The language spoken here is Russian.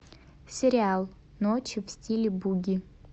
сериал ночи в стиле буги